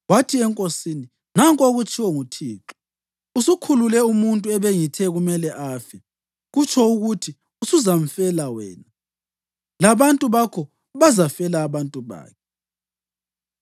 Wathi enkosini, “Nanku okutshiwo nguThixo: ‘Usukhulule umuntu ebengithe kumele afe. Kutsho ukuthi usuzamfela wena, labantu bakho bazafela abantu bakhe.’ ”